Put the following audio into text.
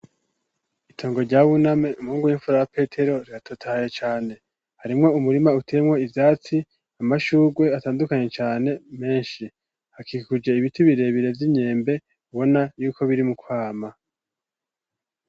Itongo rya buname umpungu w'imfura petero riratotaye cane harimwo umurima utemwo ivyatsi amashugwe atandukanye cane menshi hakikuje ibiti birebire vy'inyembe ubona yuko biri mukwama.